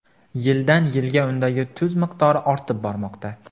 Yildan - yilga undagi tuz miqdori ortib bormoqda.